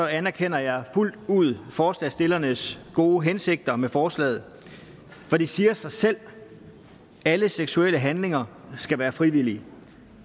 anerkender jeg fuldt ud forslagsstillernes gode hensigter med forslaget for det siger sig selv at alle seksuelle handlinger skal være frivillige